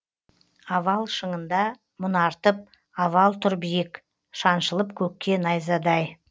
авал шыңында мұнартып авал тұр биік шаншылып көкке найзадай